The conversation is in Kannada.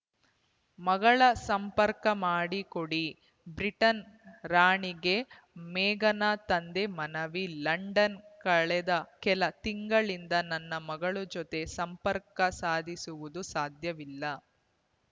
ಮಗಳ ಸಂಪರ್ಕ ಮಾಡಿ ಕೊಡಿ ಬ್ರಿಟನ್‌ ರಾಣಿಗೆ ಮೇಘನ ತಂದೆ ಮನವಿ ಲಂಡನ್‌ ಕಳೆದ ಕೆಲ ತಿಂಗಳನಿಂದ ನನ್ನ ಮಗಳ ಜೊತೆ ಸಂಪರ್ಕ ಸಾಧಿಸುವುದು ಸಾಧ್ಯವಿಲ್ಲ